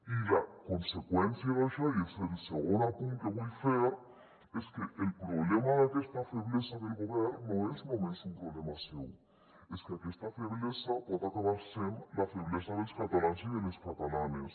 i la conseqüència d’això i és el segon apunt que vull fer és que el problema d’aquesta feblesa del govern no és només un problema seu és que aquesta feblesa pot acabar sent la feblesa dels catalans i de les catalanes